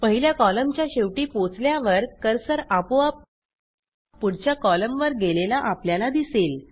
पहिल्या कॉलमच्या शेवटी पोचल्यावर कर्सर आपोआप पुढच्या कॉलमवर गेलेला आपल्याला दिसेल